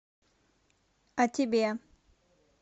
а тебе